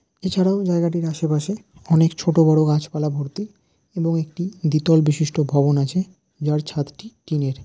এছাড়াও জায়গাটির আশেপাশে অনেক ছোটোবড়ো গাছপালা ভর্তি এবং একটি দ্বিতল বিশিষ্ট ভবন আছে যার ছাদটি টিন -এর।